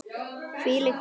Hvílík speki!